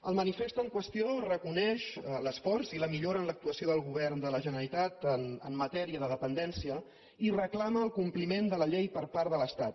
el manifest en qüestió reconeix l’esforç i la millora en l’actuació del govern de la generalitat en matèria de dependència i reclama el compliment de la llei per part de l’estat